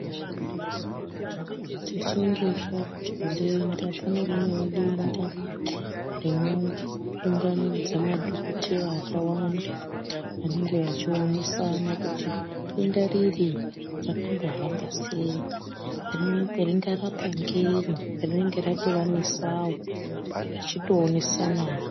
Tichinge tanzwa denda, kune rimweni denda, rinounganidza madhogodheya akawanda, vanenge vachionesana kuti denda riri rakambohamba sei, ringarapwa ngenyi, rinenge ratovanesawo, vachito onesanawo.